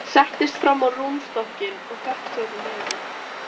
Settist fram á rúmstokkinn og fékk sér í nefið.